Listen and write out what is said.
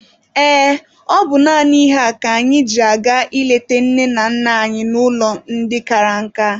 Ee, ọ bụ naanị ihe a ka anyị ji aga ịleta nne na nna anyị n'ụlọ ndị kara nka.